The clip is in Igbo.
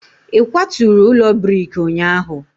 ị kwaturu ụlọ brik ụnyahụ?